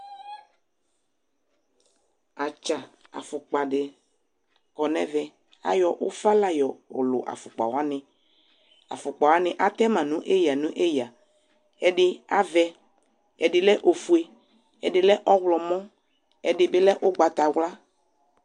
Atsa afokpa se kɔ nɛvɛ Ayɔ ufa la yɔlu afokpa wane Afokpa wane atɛ ma no eya neya, ɛde avɛ, ɛde lɛ ofue, ɛde lɛ ɔwɔlmɔ, ɛde be lɛ ugbatawla